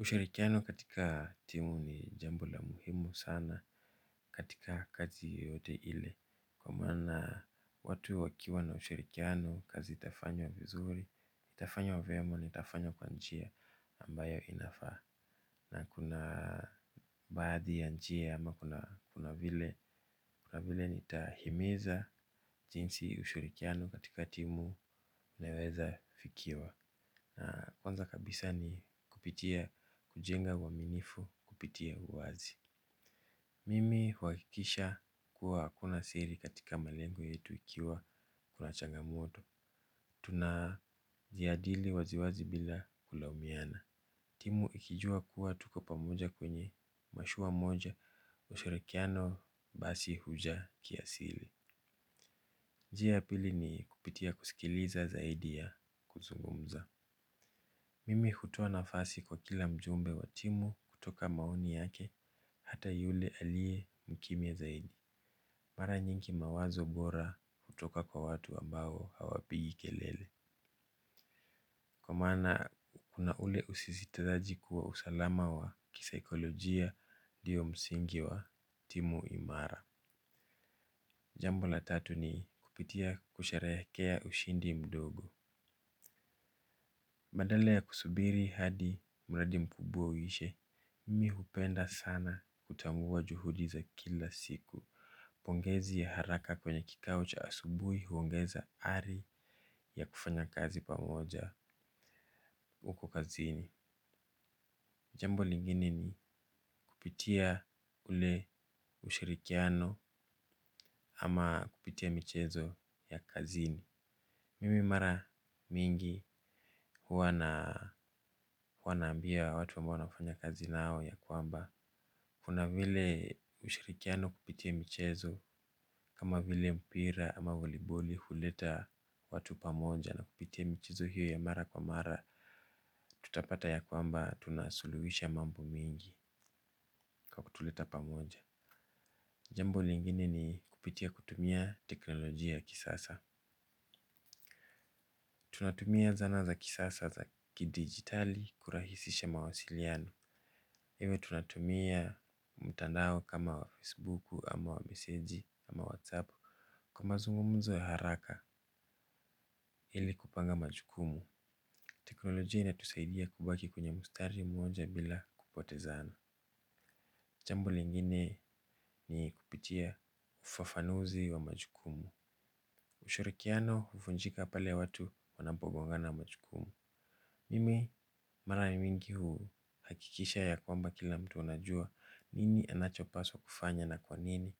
Ushirikiano katika timu ni jambo la muhimu sana katika kazi yoteyote ile. Kwa maana watu wakiwa na ushirikiano kazi itafanywa vizuri itafanywa vyema ni itafanywa kwa njia ambayo inafaa. Na kuna baadhi ya njia ama kuna vile kuna vile nitahimiza jinsi ushirikiano katika timu unaweza fikiwa. Na kwanza kabisa ni kupitia kujenga uaminifu kupitia uwazi. Mimi huhakikisha kuwa akuna siri katika malengo yetu ikiwa kuna changamoto. Tuna jadili waziwazi bila kulaumiana. Timu ikijua kuwa tuko pamoja kwenye mashua moja ushirikiano basi huja ki aslii. Njia ya pili ni kupitia kusikiliza zaidi ya kuzungumza. Mimi hutoa nafasi kwa kila mjumbe wa timu kutoka maoni yake hata yule alie mkimya zaidi. Mara nyingi mawazo bora hutoka kwa watu ambao hawapigi kelele. Kwa maana kuna ule usisitizaji kuwa usalama wa kisaikolojia ndiyo msingi wa timu imara. Jambo la tatu ni kupitia kusherehekea ushindi mdogo. Badala ya kusubiri hadi mradi mkubwa uishe, mimi hupenda sana kutambua juhudi za kila siku. Pongezi ya haraka kwenye kikao cha asubuhi huongeza ari ya kufanya kazi pamoja huko kazini. Jambo lingine ni kupitia ule ushirikiano ama kupitia michezo ya kazini. Mimi mara mingi huwa naambia watu ambao nafanya kazi nao ya kwamba. Kuna vile ushirikiano kupitia michezo kama vile mpira ama voliboli huleta watu pamoja na kupitia michezo hiyo ya mara kwa mara. Tutapata ya kwamba tunasuluhisha mambo mengi kwa kutuleta pamoja. Jambo lingine ni kupitia kutumia teknolojia ya kisasa. Tunatumia zana za kisasa za kidigitali kurahisisha mawasiliano iwe tunatumia mtandao kama wa facebook ama wa meseji ama whatsapp kwa mazungumzo ya haraka ili kupanga majukumu. Teknolojia inatusaidia kubaki kwenye mstari mmoja bila kupote zana. Jambo lingine ni kupitia ufafanuzi wa majukumu. Ushirikiano huvunjika pale watu wanapogongana majukumu. Mimi mara mingi huhakikisha ya kwamba kila mtu anajua nini anachopaswa kufanya na kwanini